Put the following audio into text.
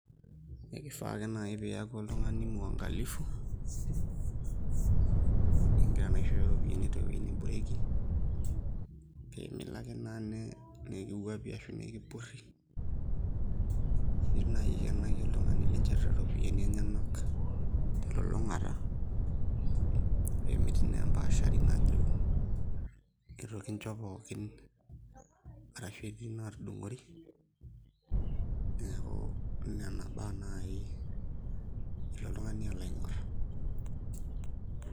Ekifaa ake naai pee iaku oltung'ani muangalifu ingira naa aishooyo iropiyiani teweuji neboreki pee milo naa ake nikiwuapi ashu nikipurri nilo aikenaki oltung'ani linchorita iropiyiani enyenak telulung'ata pee metii naa embaashari najo itu kincho pookin arashu etii inaatudung'ori, neeku nena baa naai ilo oltung'ani alo aing'orr.